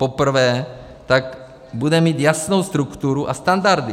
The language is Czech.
Poprvé tak bude mít jasnou strukturu a standardy.